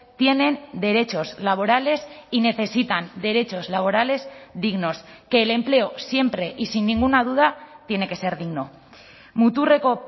tienen derechos laborales y necesitan derechos laborales dignos que el empleo siempre y sin ninguna duda tiene que ser digno muturreko